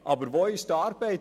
Aber wo ist nun die Arbeit?